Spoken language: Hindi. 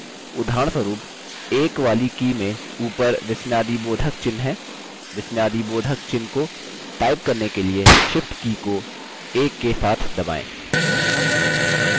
उदाहरणस्वरुप संख्या 1 वाले बटन में ऊपर विस्मयादिबोधकचिह्न है विस्मयादिबोधकचिह्न को टाइप करने के लिए shift की को 1 के साथ दबाएँ